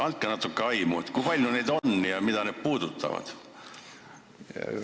Andke natukene aimu, kui palju neid on ja mida need käsitlevad?